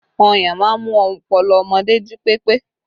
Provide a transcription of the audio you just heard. Ọyàn máa ń mú ọpọlọ ọmọdé jí pépé